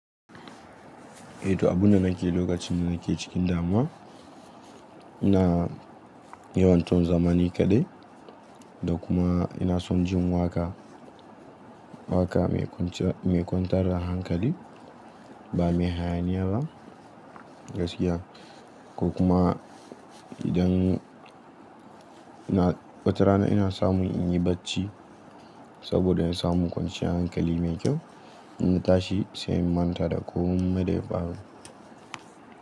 Eh to abune nake lokacin nake cikin damuwa, ina yawan son zamani kaɗai da kuma ina son jin waƙa, waƙa mai kwantar da hankali ba me hayaniya ba gaskiya. Ko kuma idan wata rana ina samu in yi bacci saboda na samu kwanciyar hankali mai kyau in na tashi sai manta da komai da ya faru.